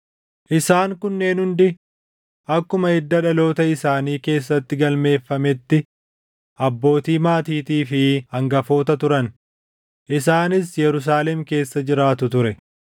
Isaan kunneen hundi akkuma hidda dhaloota isaanii keessatti galmeeffametti abbootii maatiitii fi hangafoota turan; isaanis Yerusaalem keessa jiraatu ture.